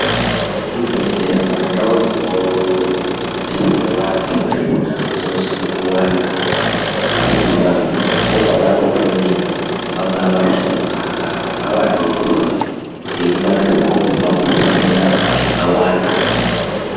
Zvibhedhlera kana ndau dzinodetserwe vantu ngezveutano dzinosise kuwanda ngekuti vantu ndokwavanoponera vangava vasharukwa kana vana vadoodori vengwarirwawo kubva kuzvitenda zvakawanda.